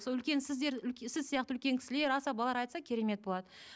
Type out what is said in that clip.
сол үлкен сіздер сіз сияқты үлкен кісілер асабалар айтса керемет болады